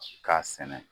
K'a sɛnɛ